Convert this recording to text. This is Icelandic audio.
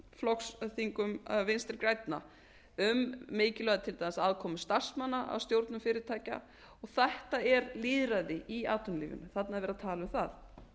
flokksþingum vinstri grænna um mikilvægi til dæmis aðkomu starfsmanna að stjórnum fyrirtækja þetta er lýðræði í atvinnulífinu þarna er verið að tala um það